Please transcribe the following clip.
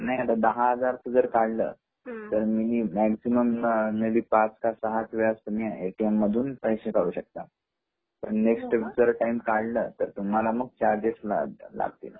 नाही दहा हजाराच्या वर काढले तर मँक्झीमम ला पाच ते सहा वेळा ए.टी.एम. पैसे काढू शकता तर मोस्ट टाइम काढल तर तुम्हाला मग चार्गेस लागतील.